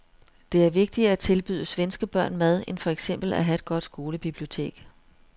Det er vigtigere at tilbyde svenske børn mad end for eksempel at have et godt skolebibliotek.